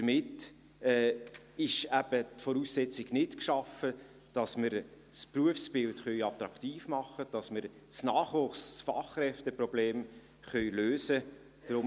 Damit ist die Voraussetzung nicht geschaffen, damit wir das Berufsbild attraktiv machen, damit wir das Nachwuchs- und Fachkräfteproblem lösen können.